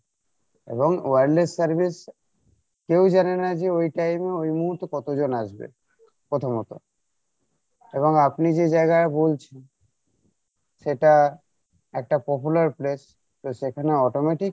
এবং wireless service কেও জানেনা যে ওই time এ ওই মুহুর্তে কতজন আসবে প্রথমত এবং আপনি যে জায়গায় বলছেন সেটা একটা popular place তো সেখানে automatic